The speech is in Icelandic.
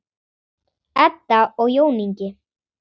Edda og Jón Ingi.